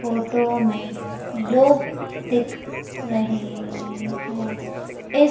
photo में लोग दिख रहे हैं इस--